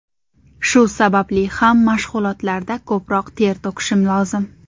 Shu sababli ham mashg‘ulotlarda ko‘proq ter to‘kishim lozim.